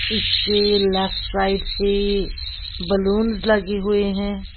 इसके left side से balloons लगे हुए हैं।